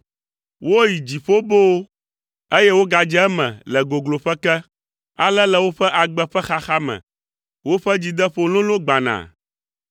Woyi dziƒo boo, eye wogadze eme le gogloƒe ke, ale le woƒe agbe ƒe xaxa me, woƒe dzideƒo lolo gbana.